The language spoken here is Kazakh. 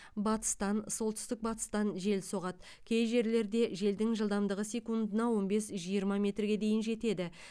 батыстан солтүстік батыстан жел соғады кей жерлерде желдің жылдамдығы секундына он бес жиырма метрге дейін жетеді